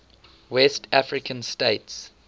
west african states